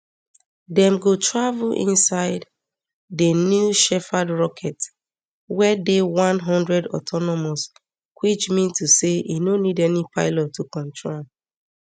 dem go travel inside di new shepherd rocket wey dey one hundred autonomous which mean to say e no need any pilot to control am